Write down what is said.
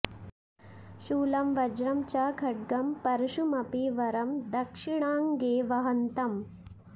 शूलं वज्रं च खड्गं परशुमपि वरं दक्षिणाङ्गे वहन्तम्